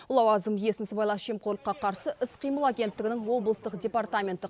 лауазым иесін сыбайлас жемқорлыққа қарсы іс қимыл агенттігінің облыстық департаменттік